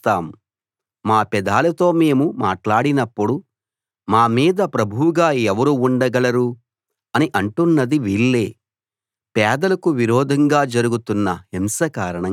మా నాలుకలతో మేము సాధిస్తాం మా పెదాలతో మేము మాట్లాడినప్పుడు మా మీద ప్రభువుగా ఎవరు ఉండగలరు అని అంటున్నది వీళ్ళే